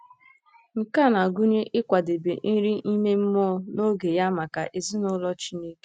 Nke a na-agụnye ịkwadebe nri ime mmụọ n'oge ya maka ezinụlọ Chineke.